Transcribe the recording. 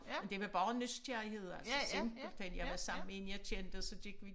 Men det var bare nysgerrighed altså simpelthen jeg var sammen med en jeg kendte og så gik vi